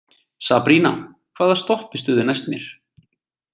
Sabrína, hvaða stoppistöð er næst mér?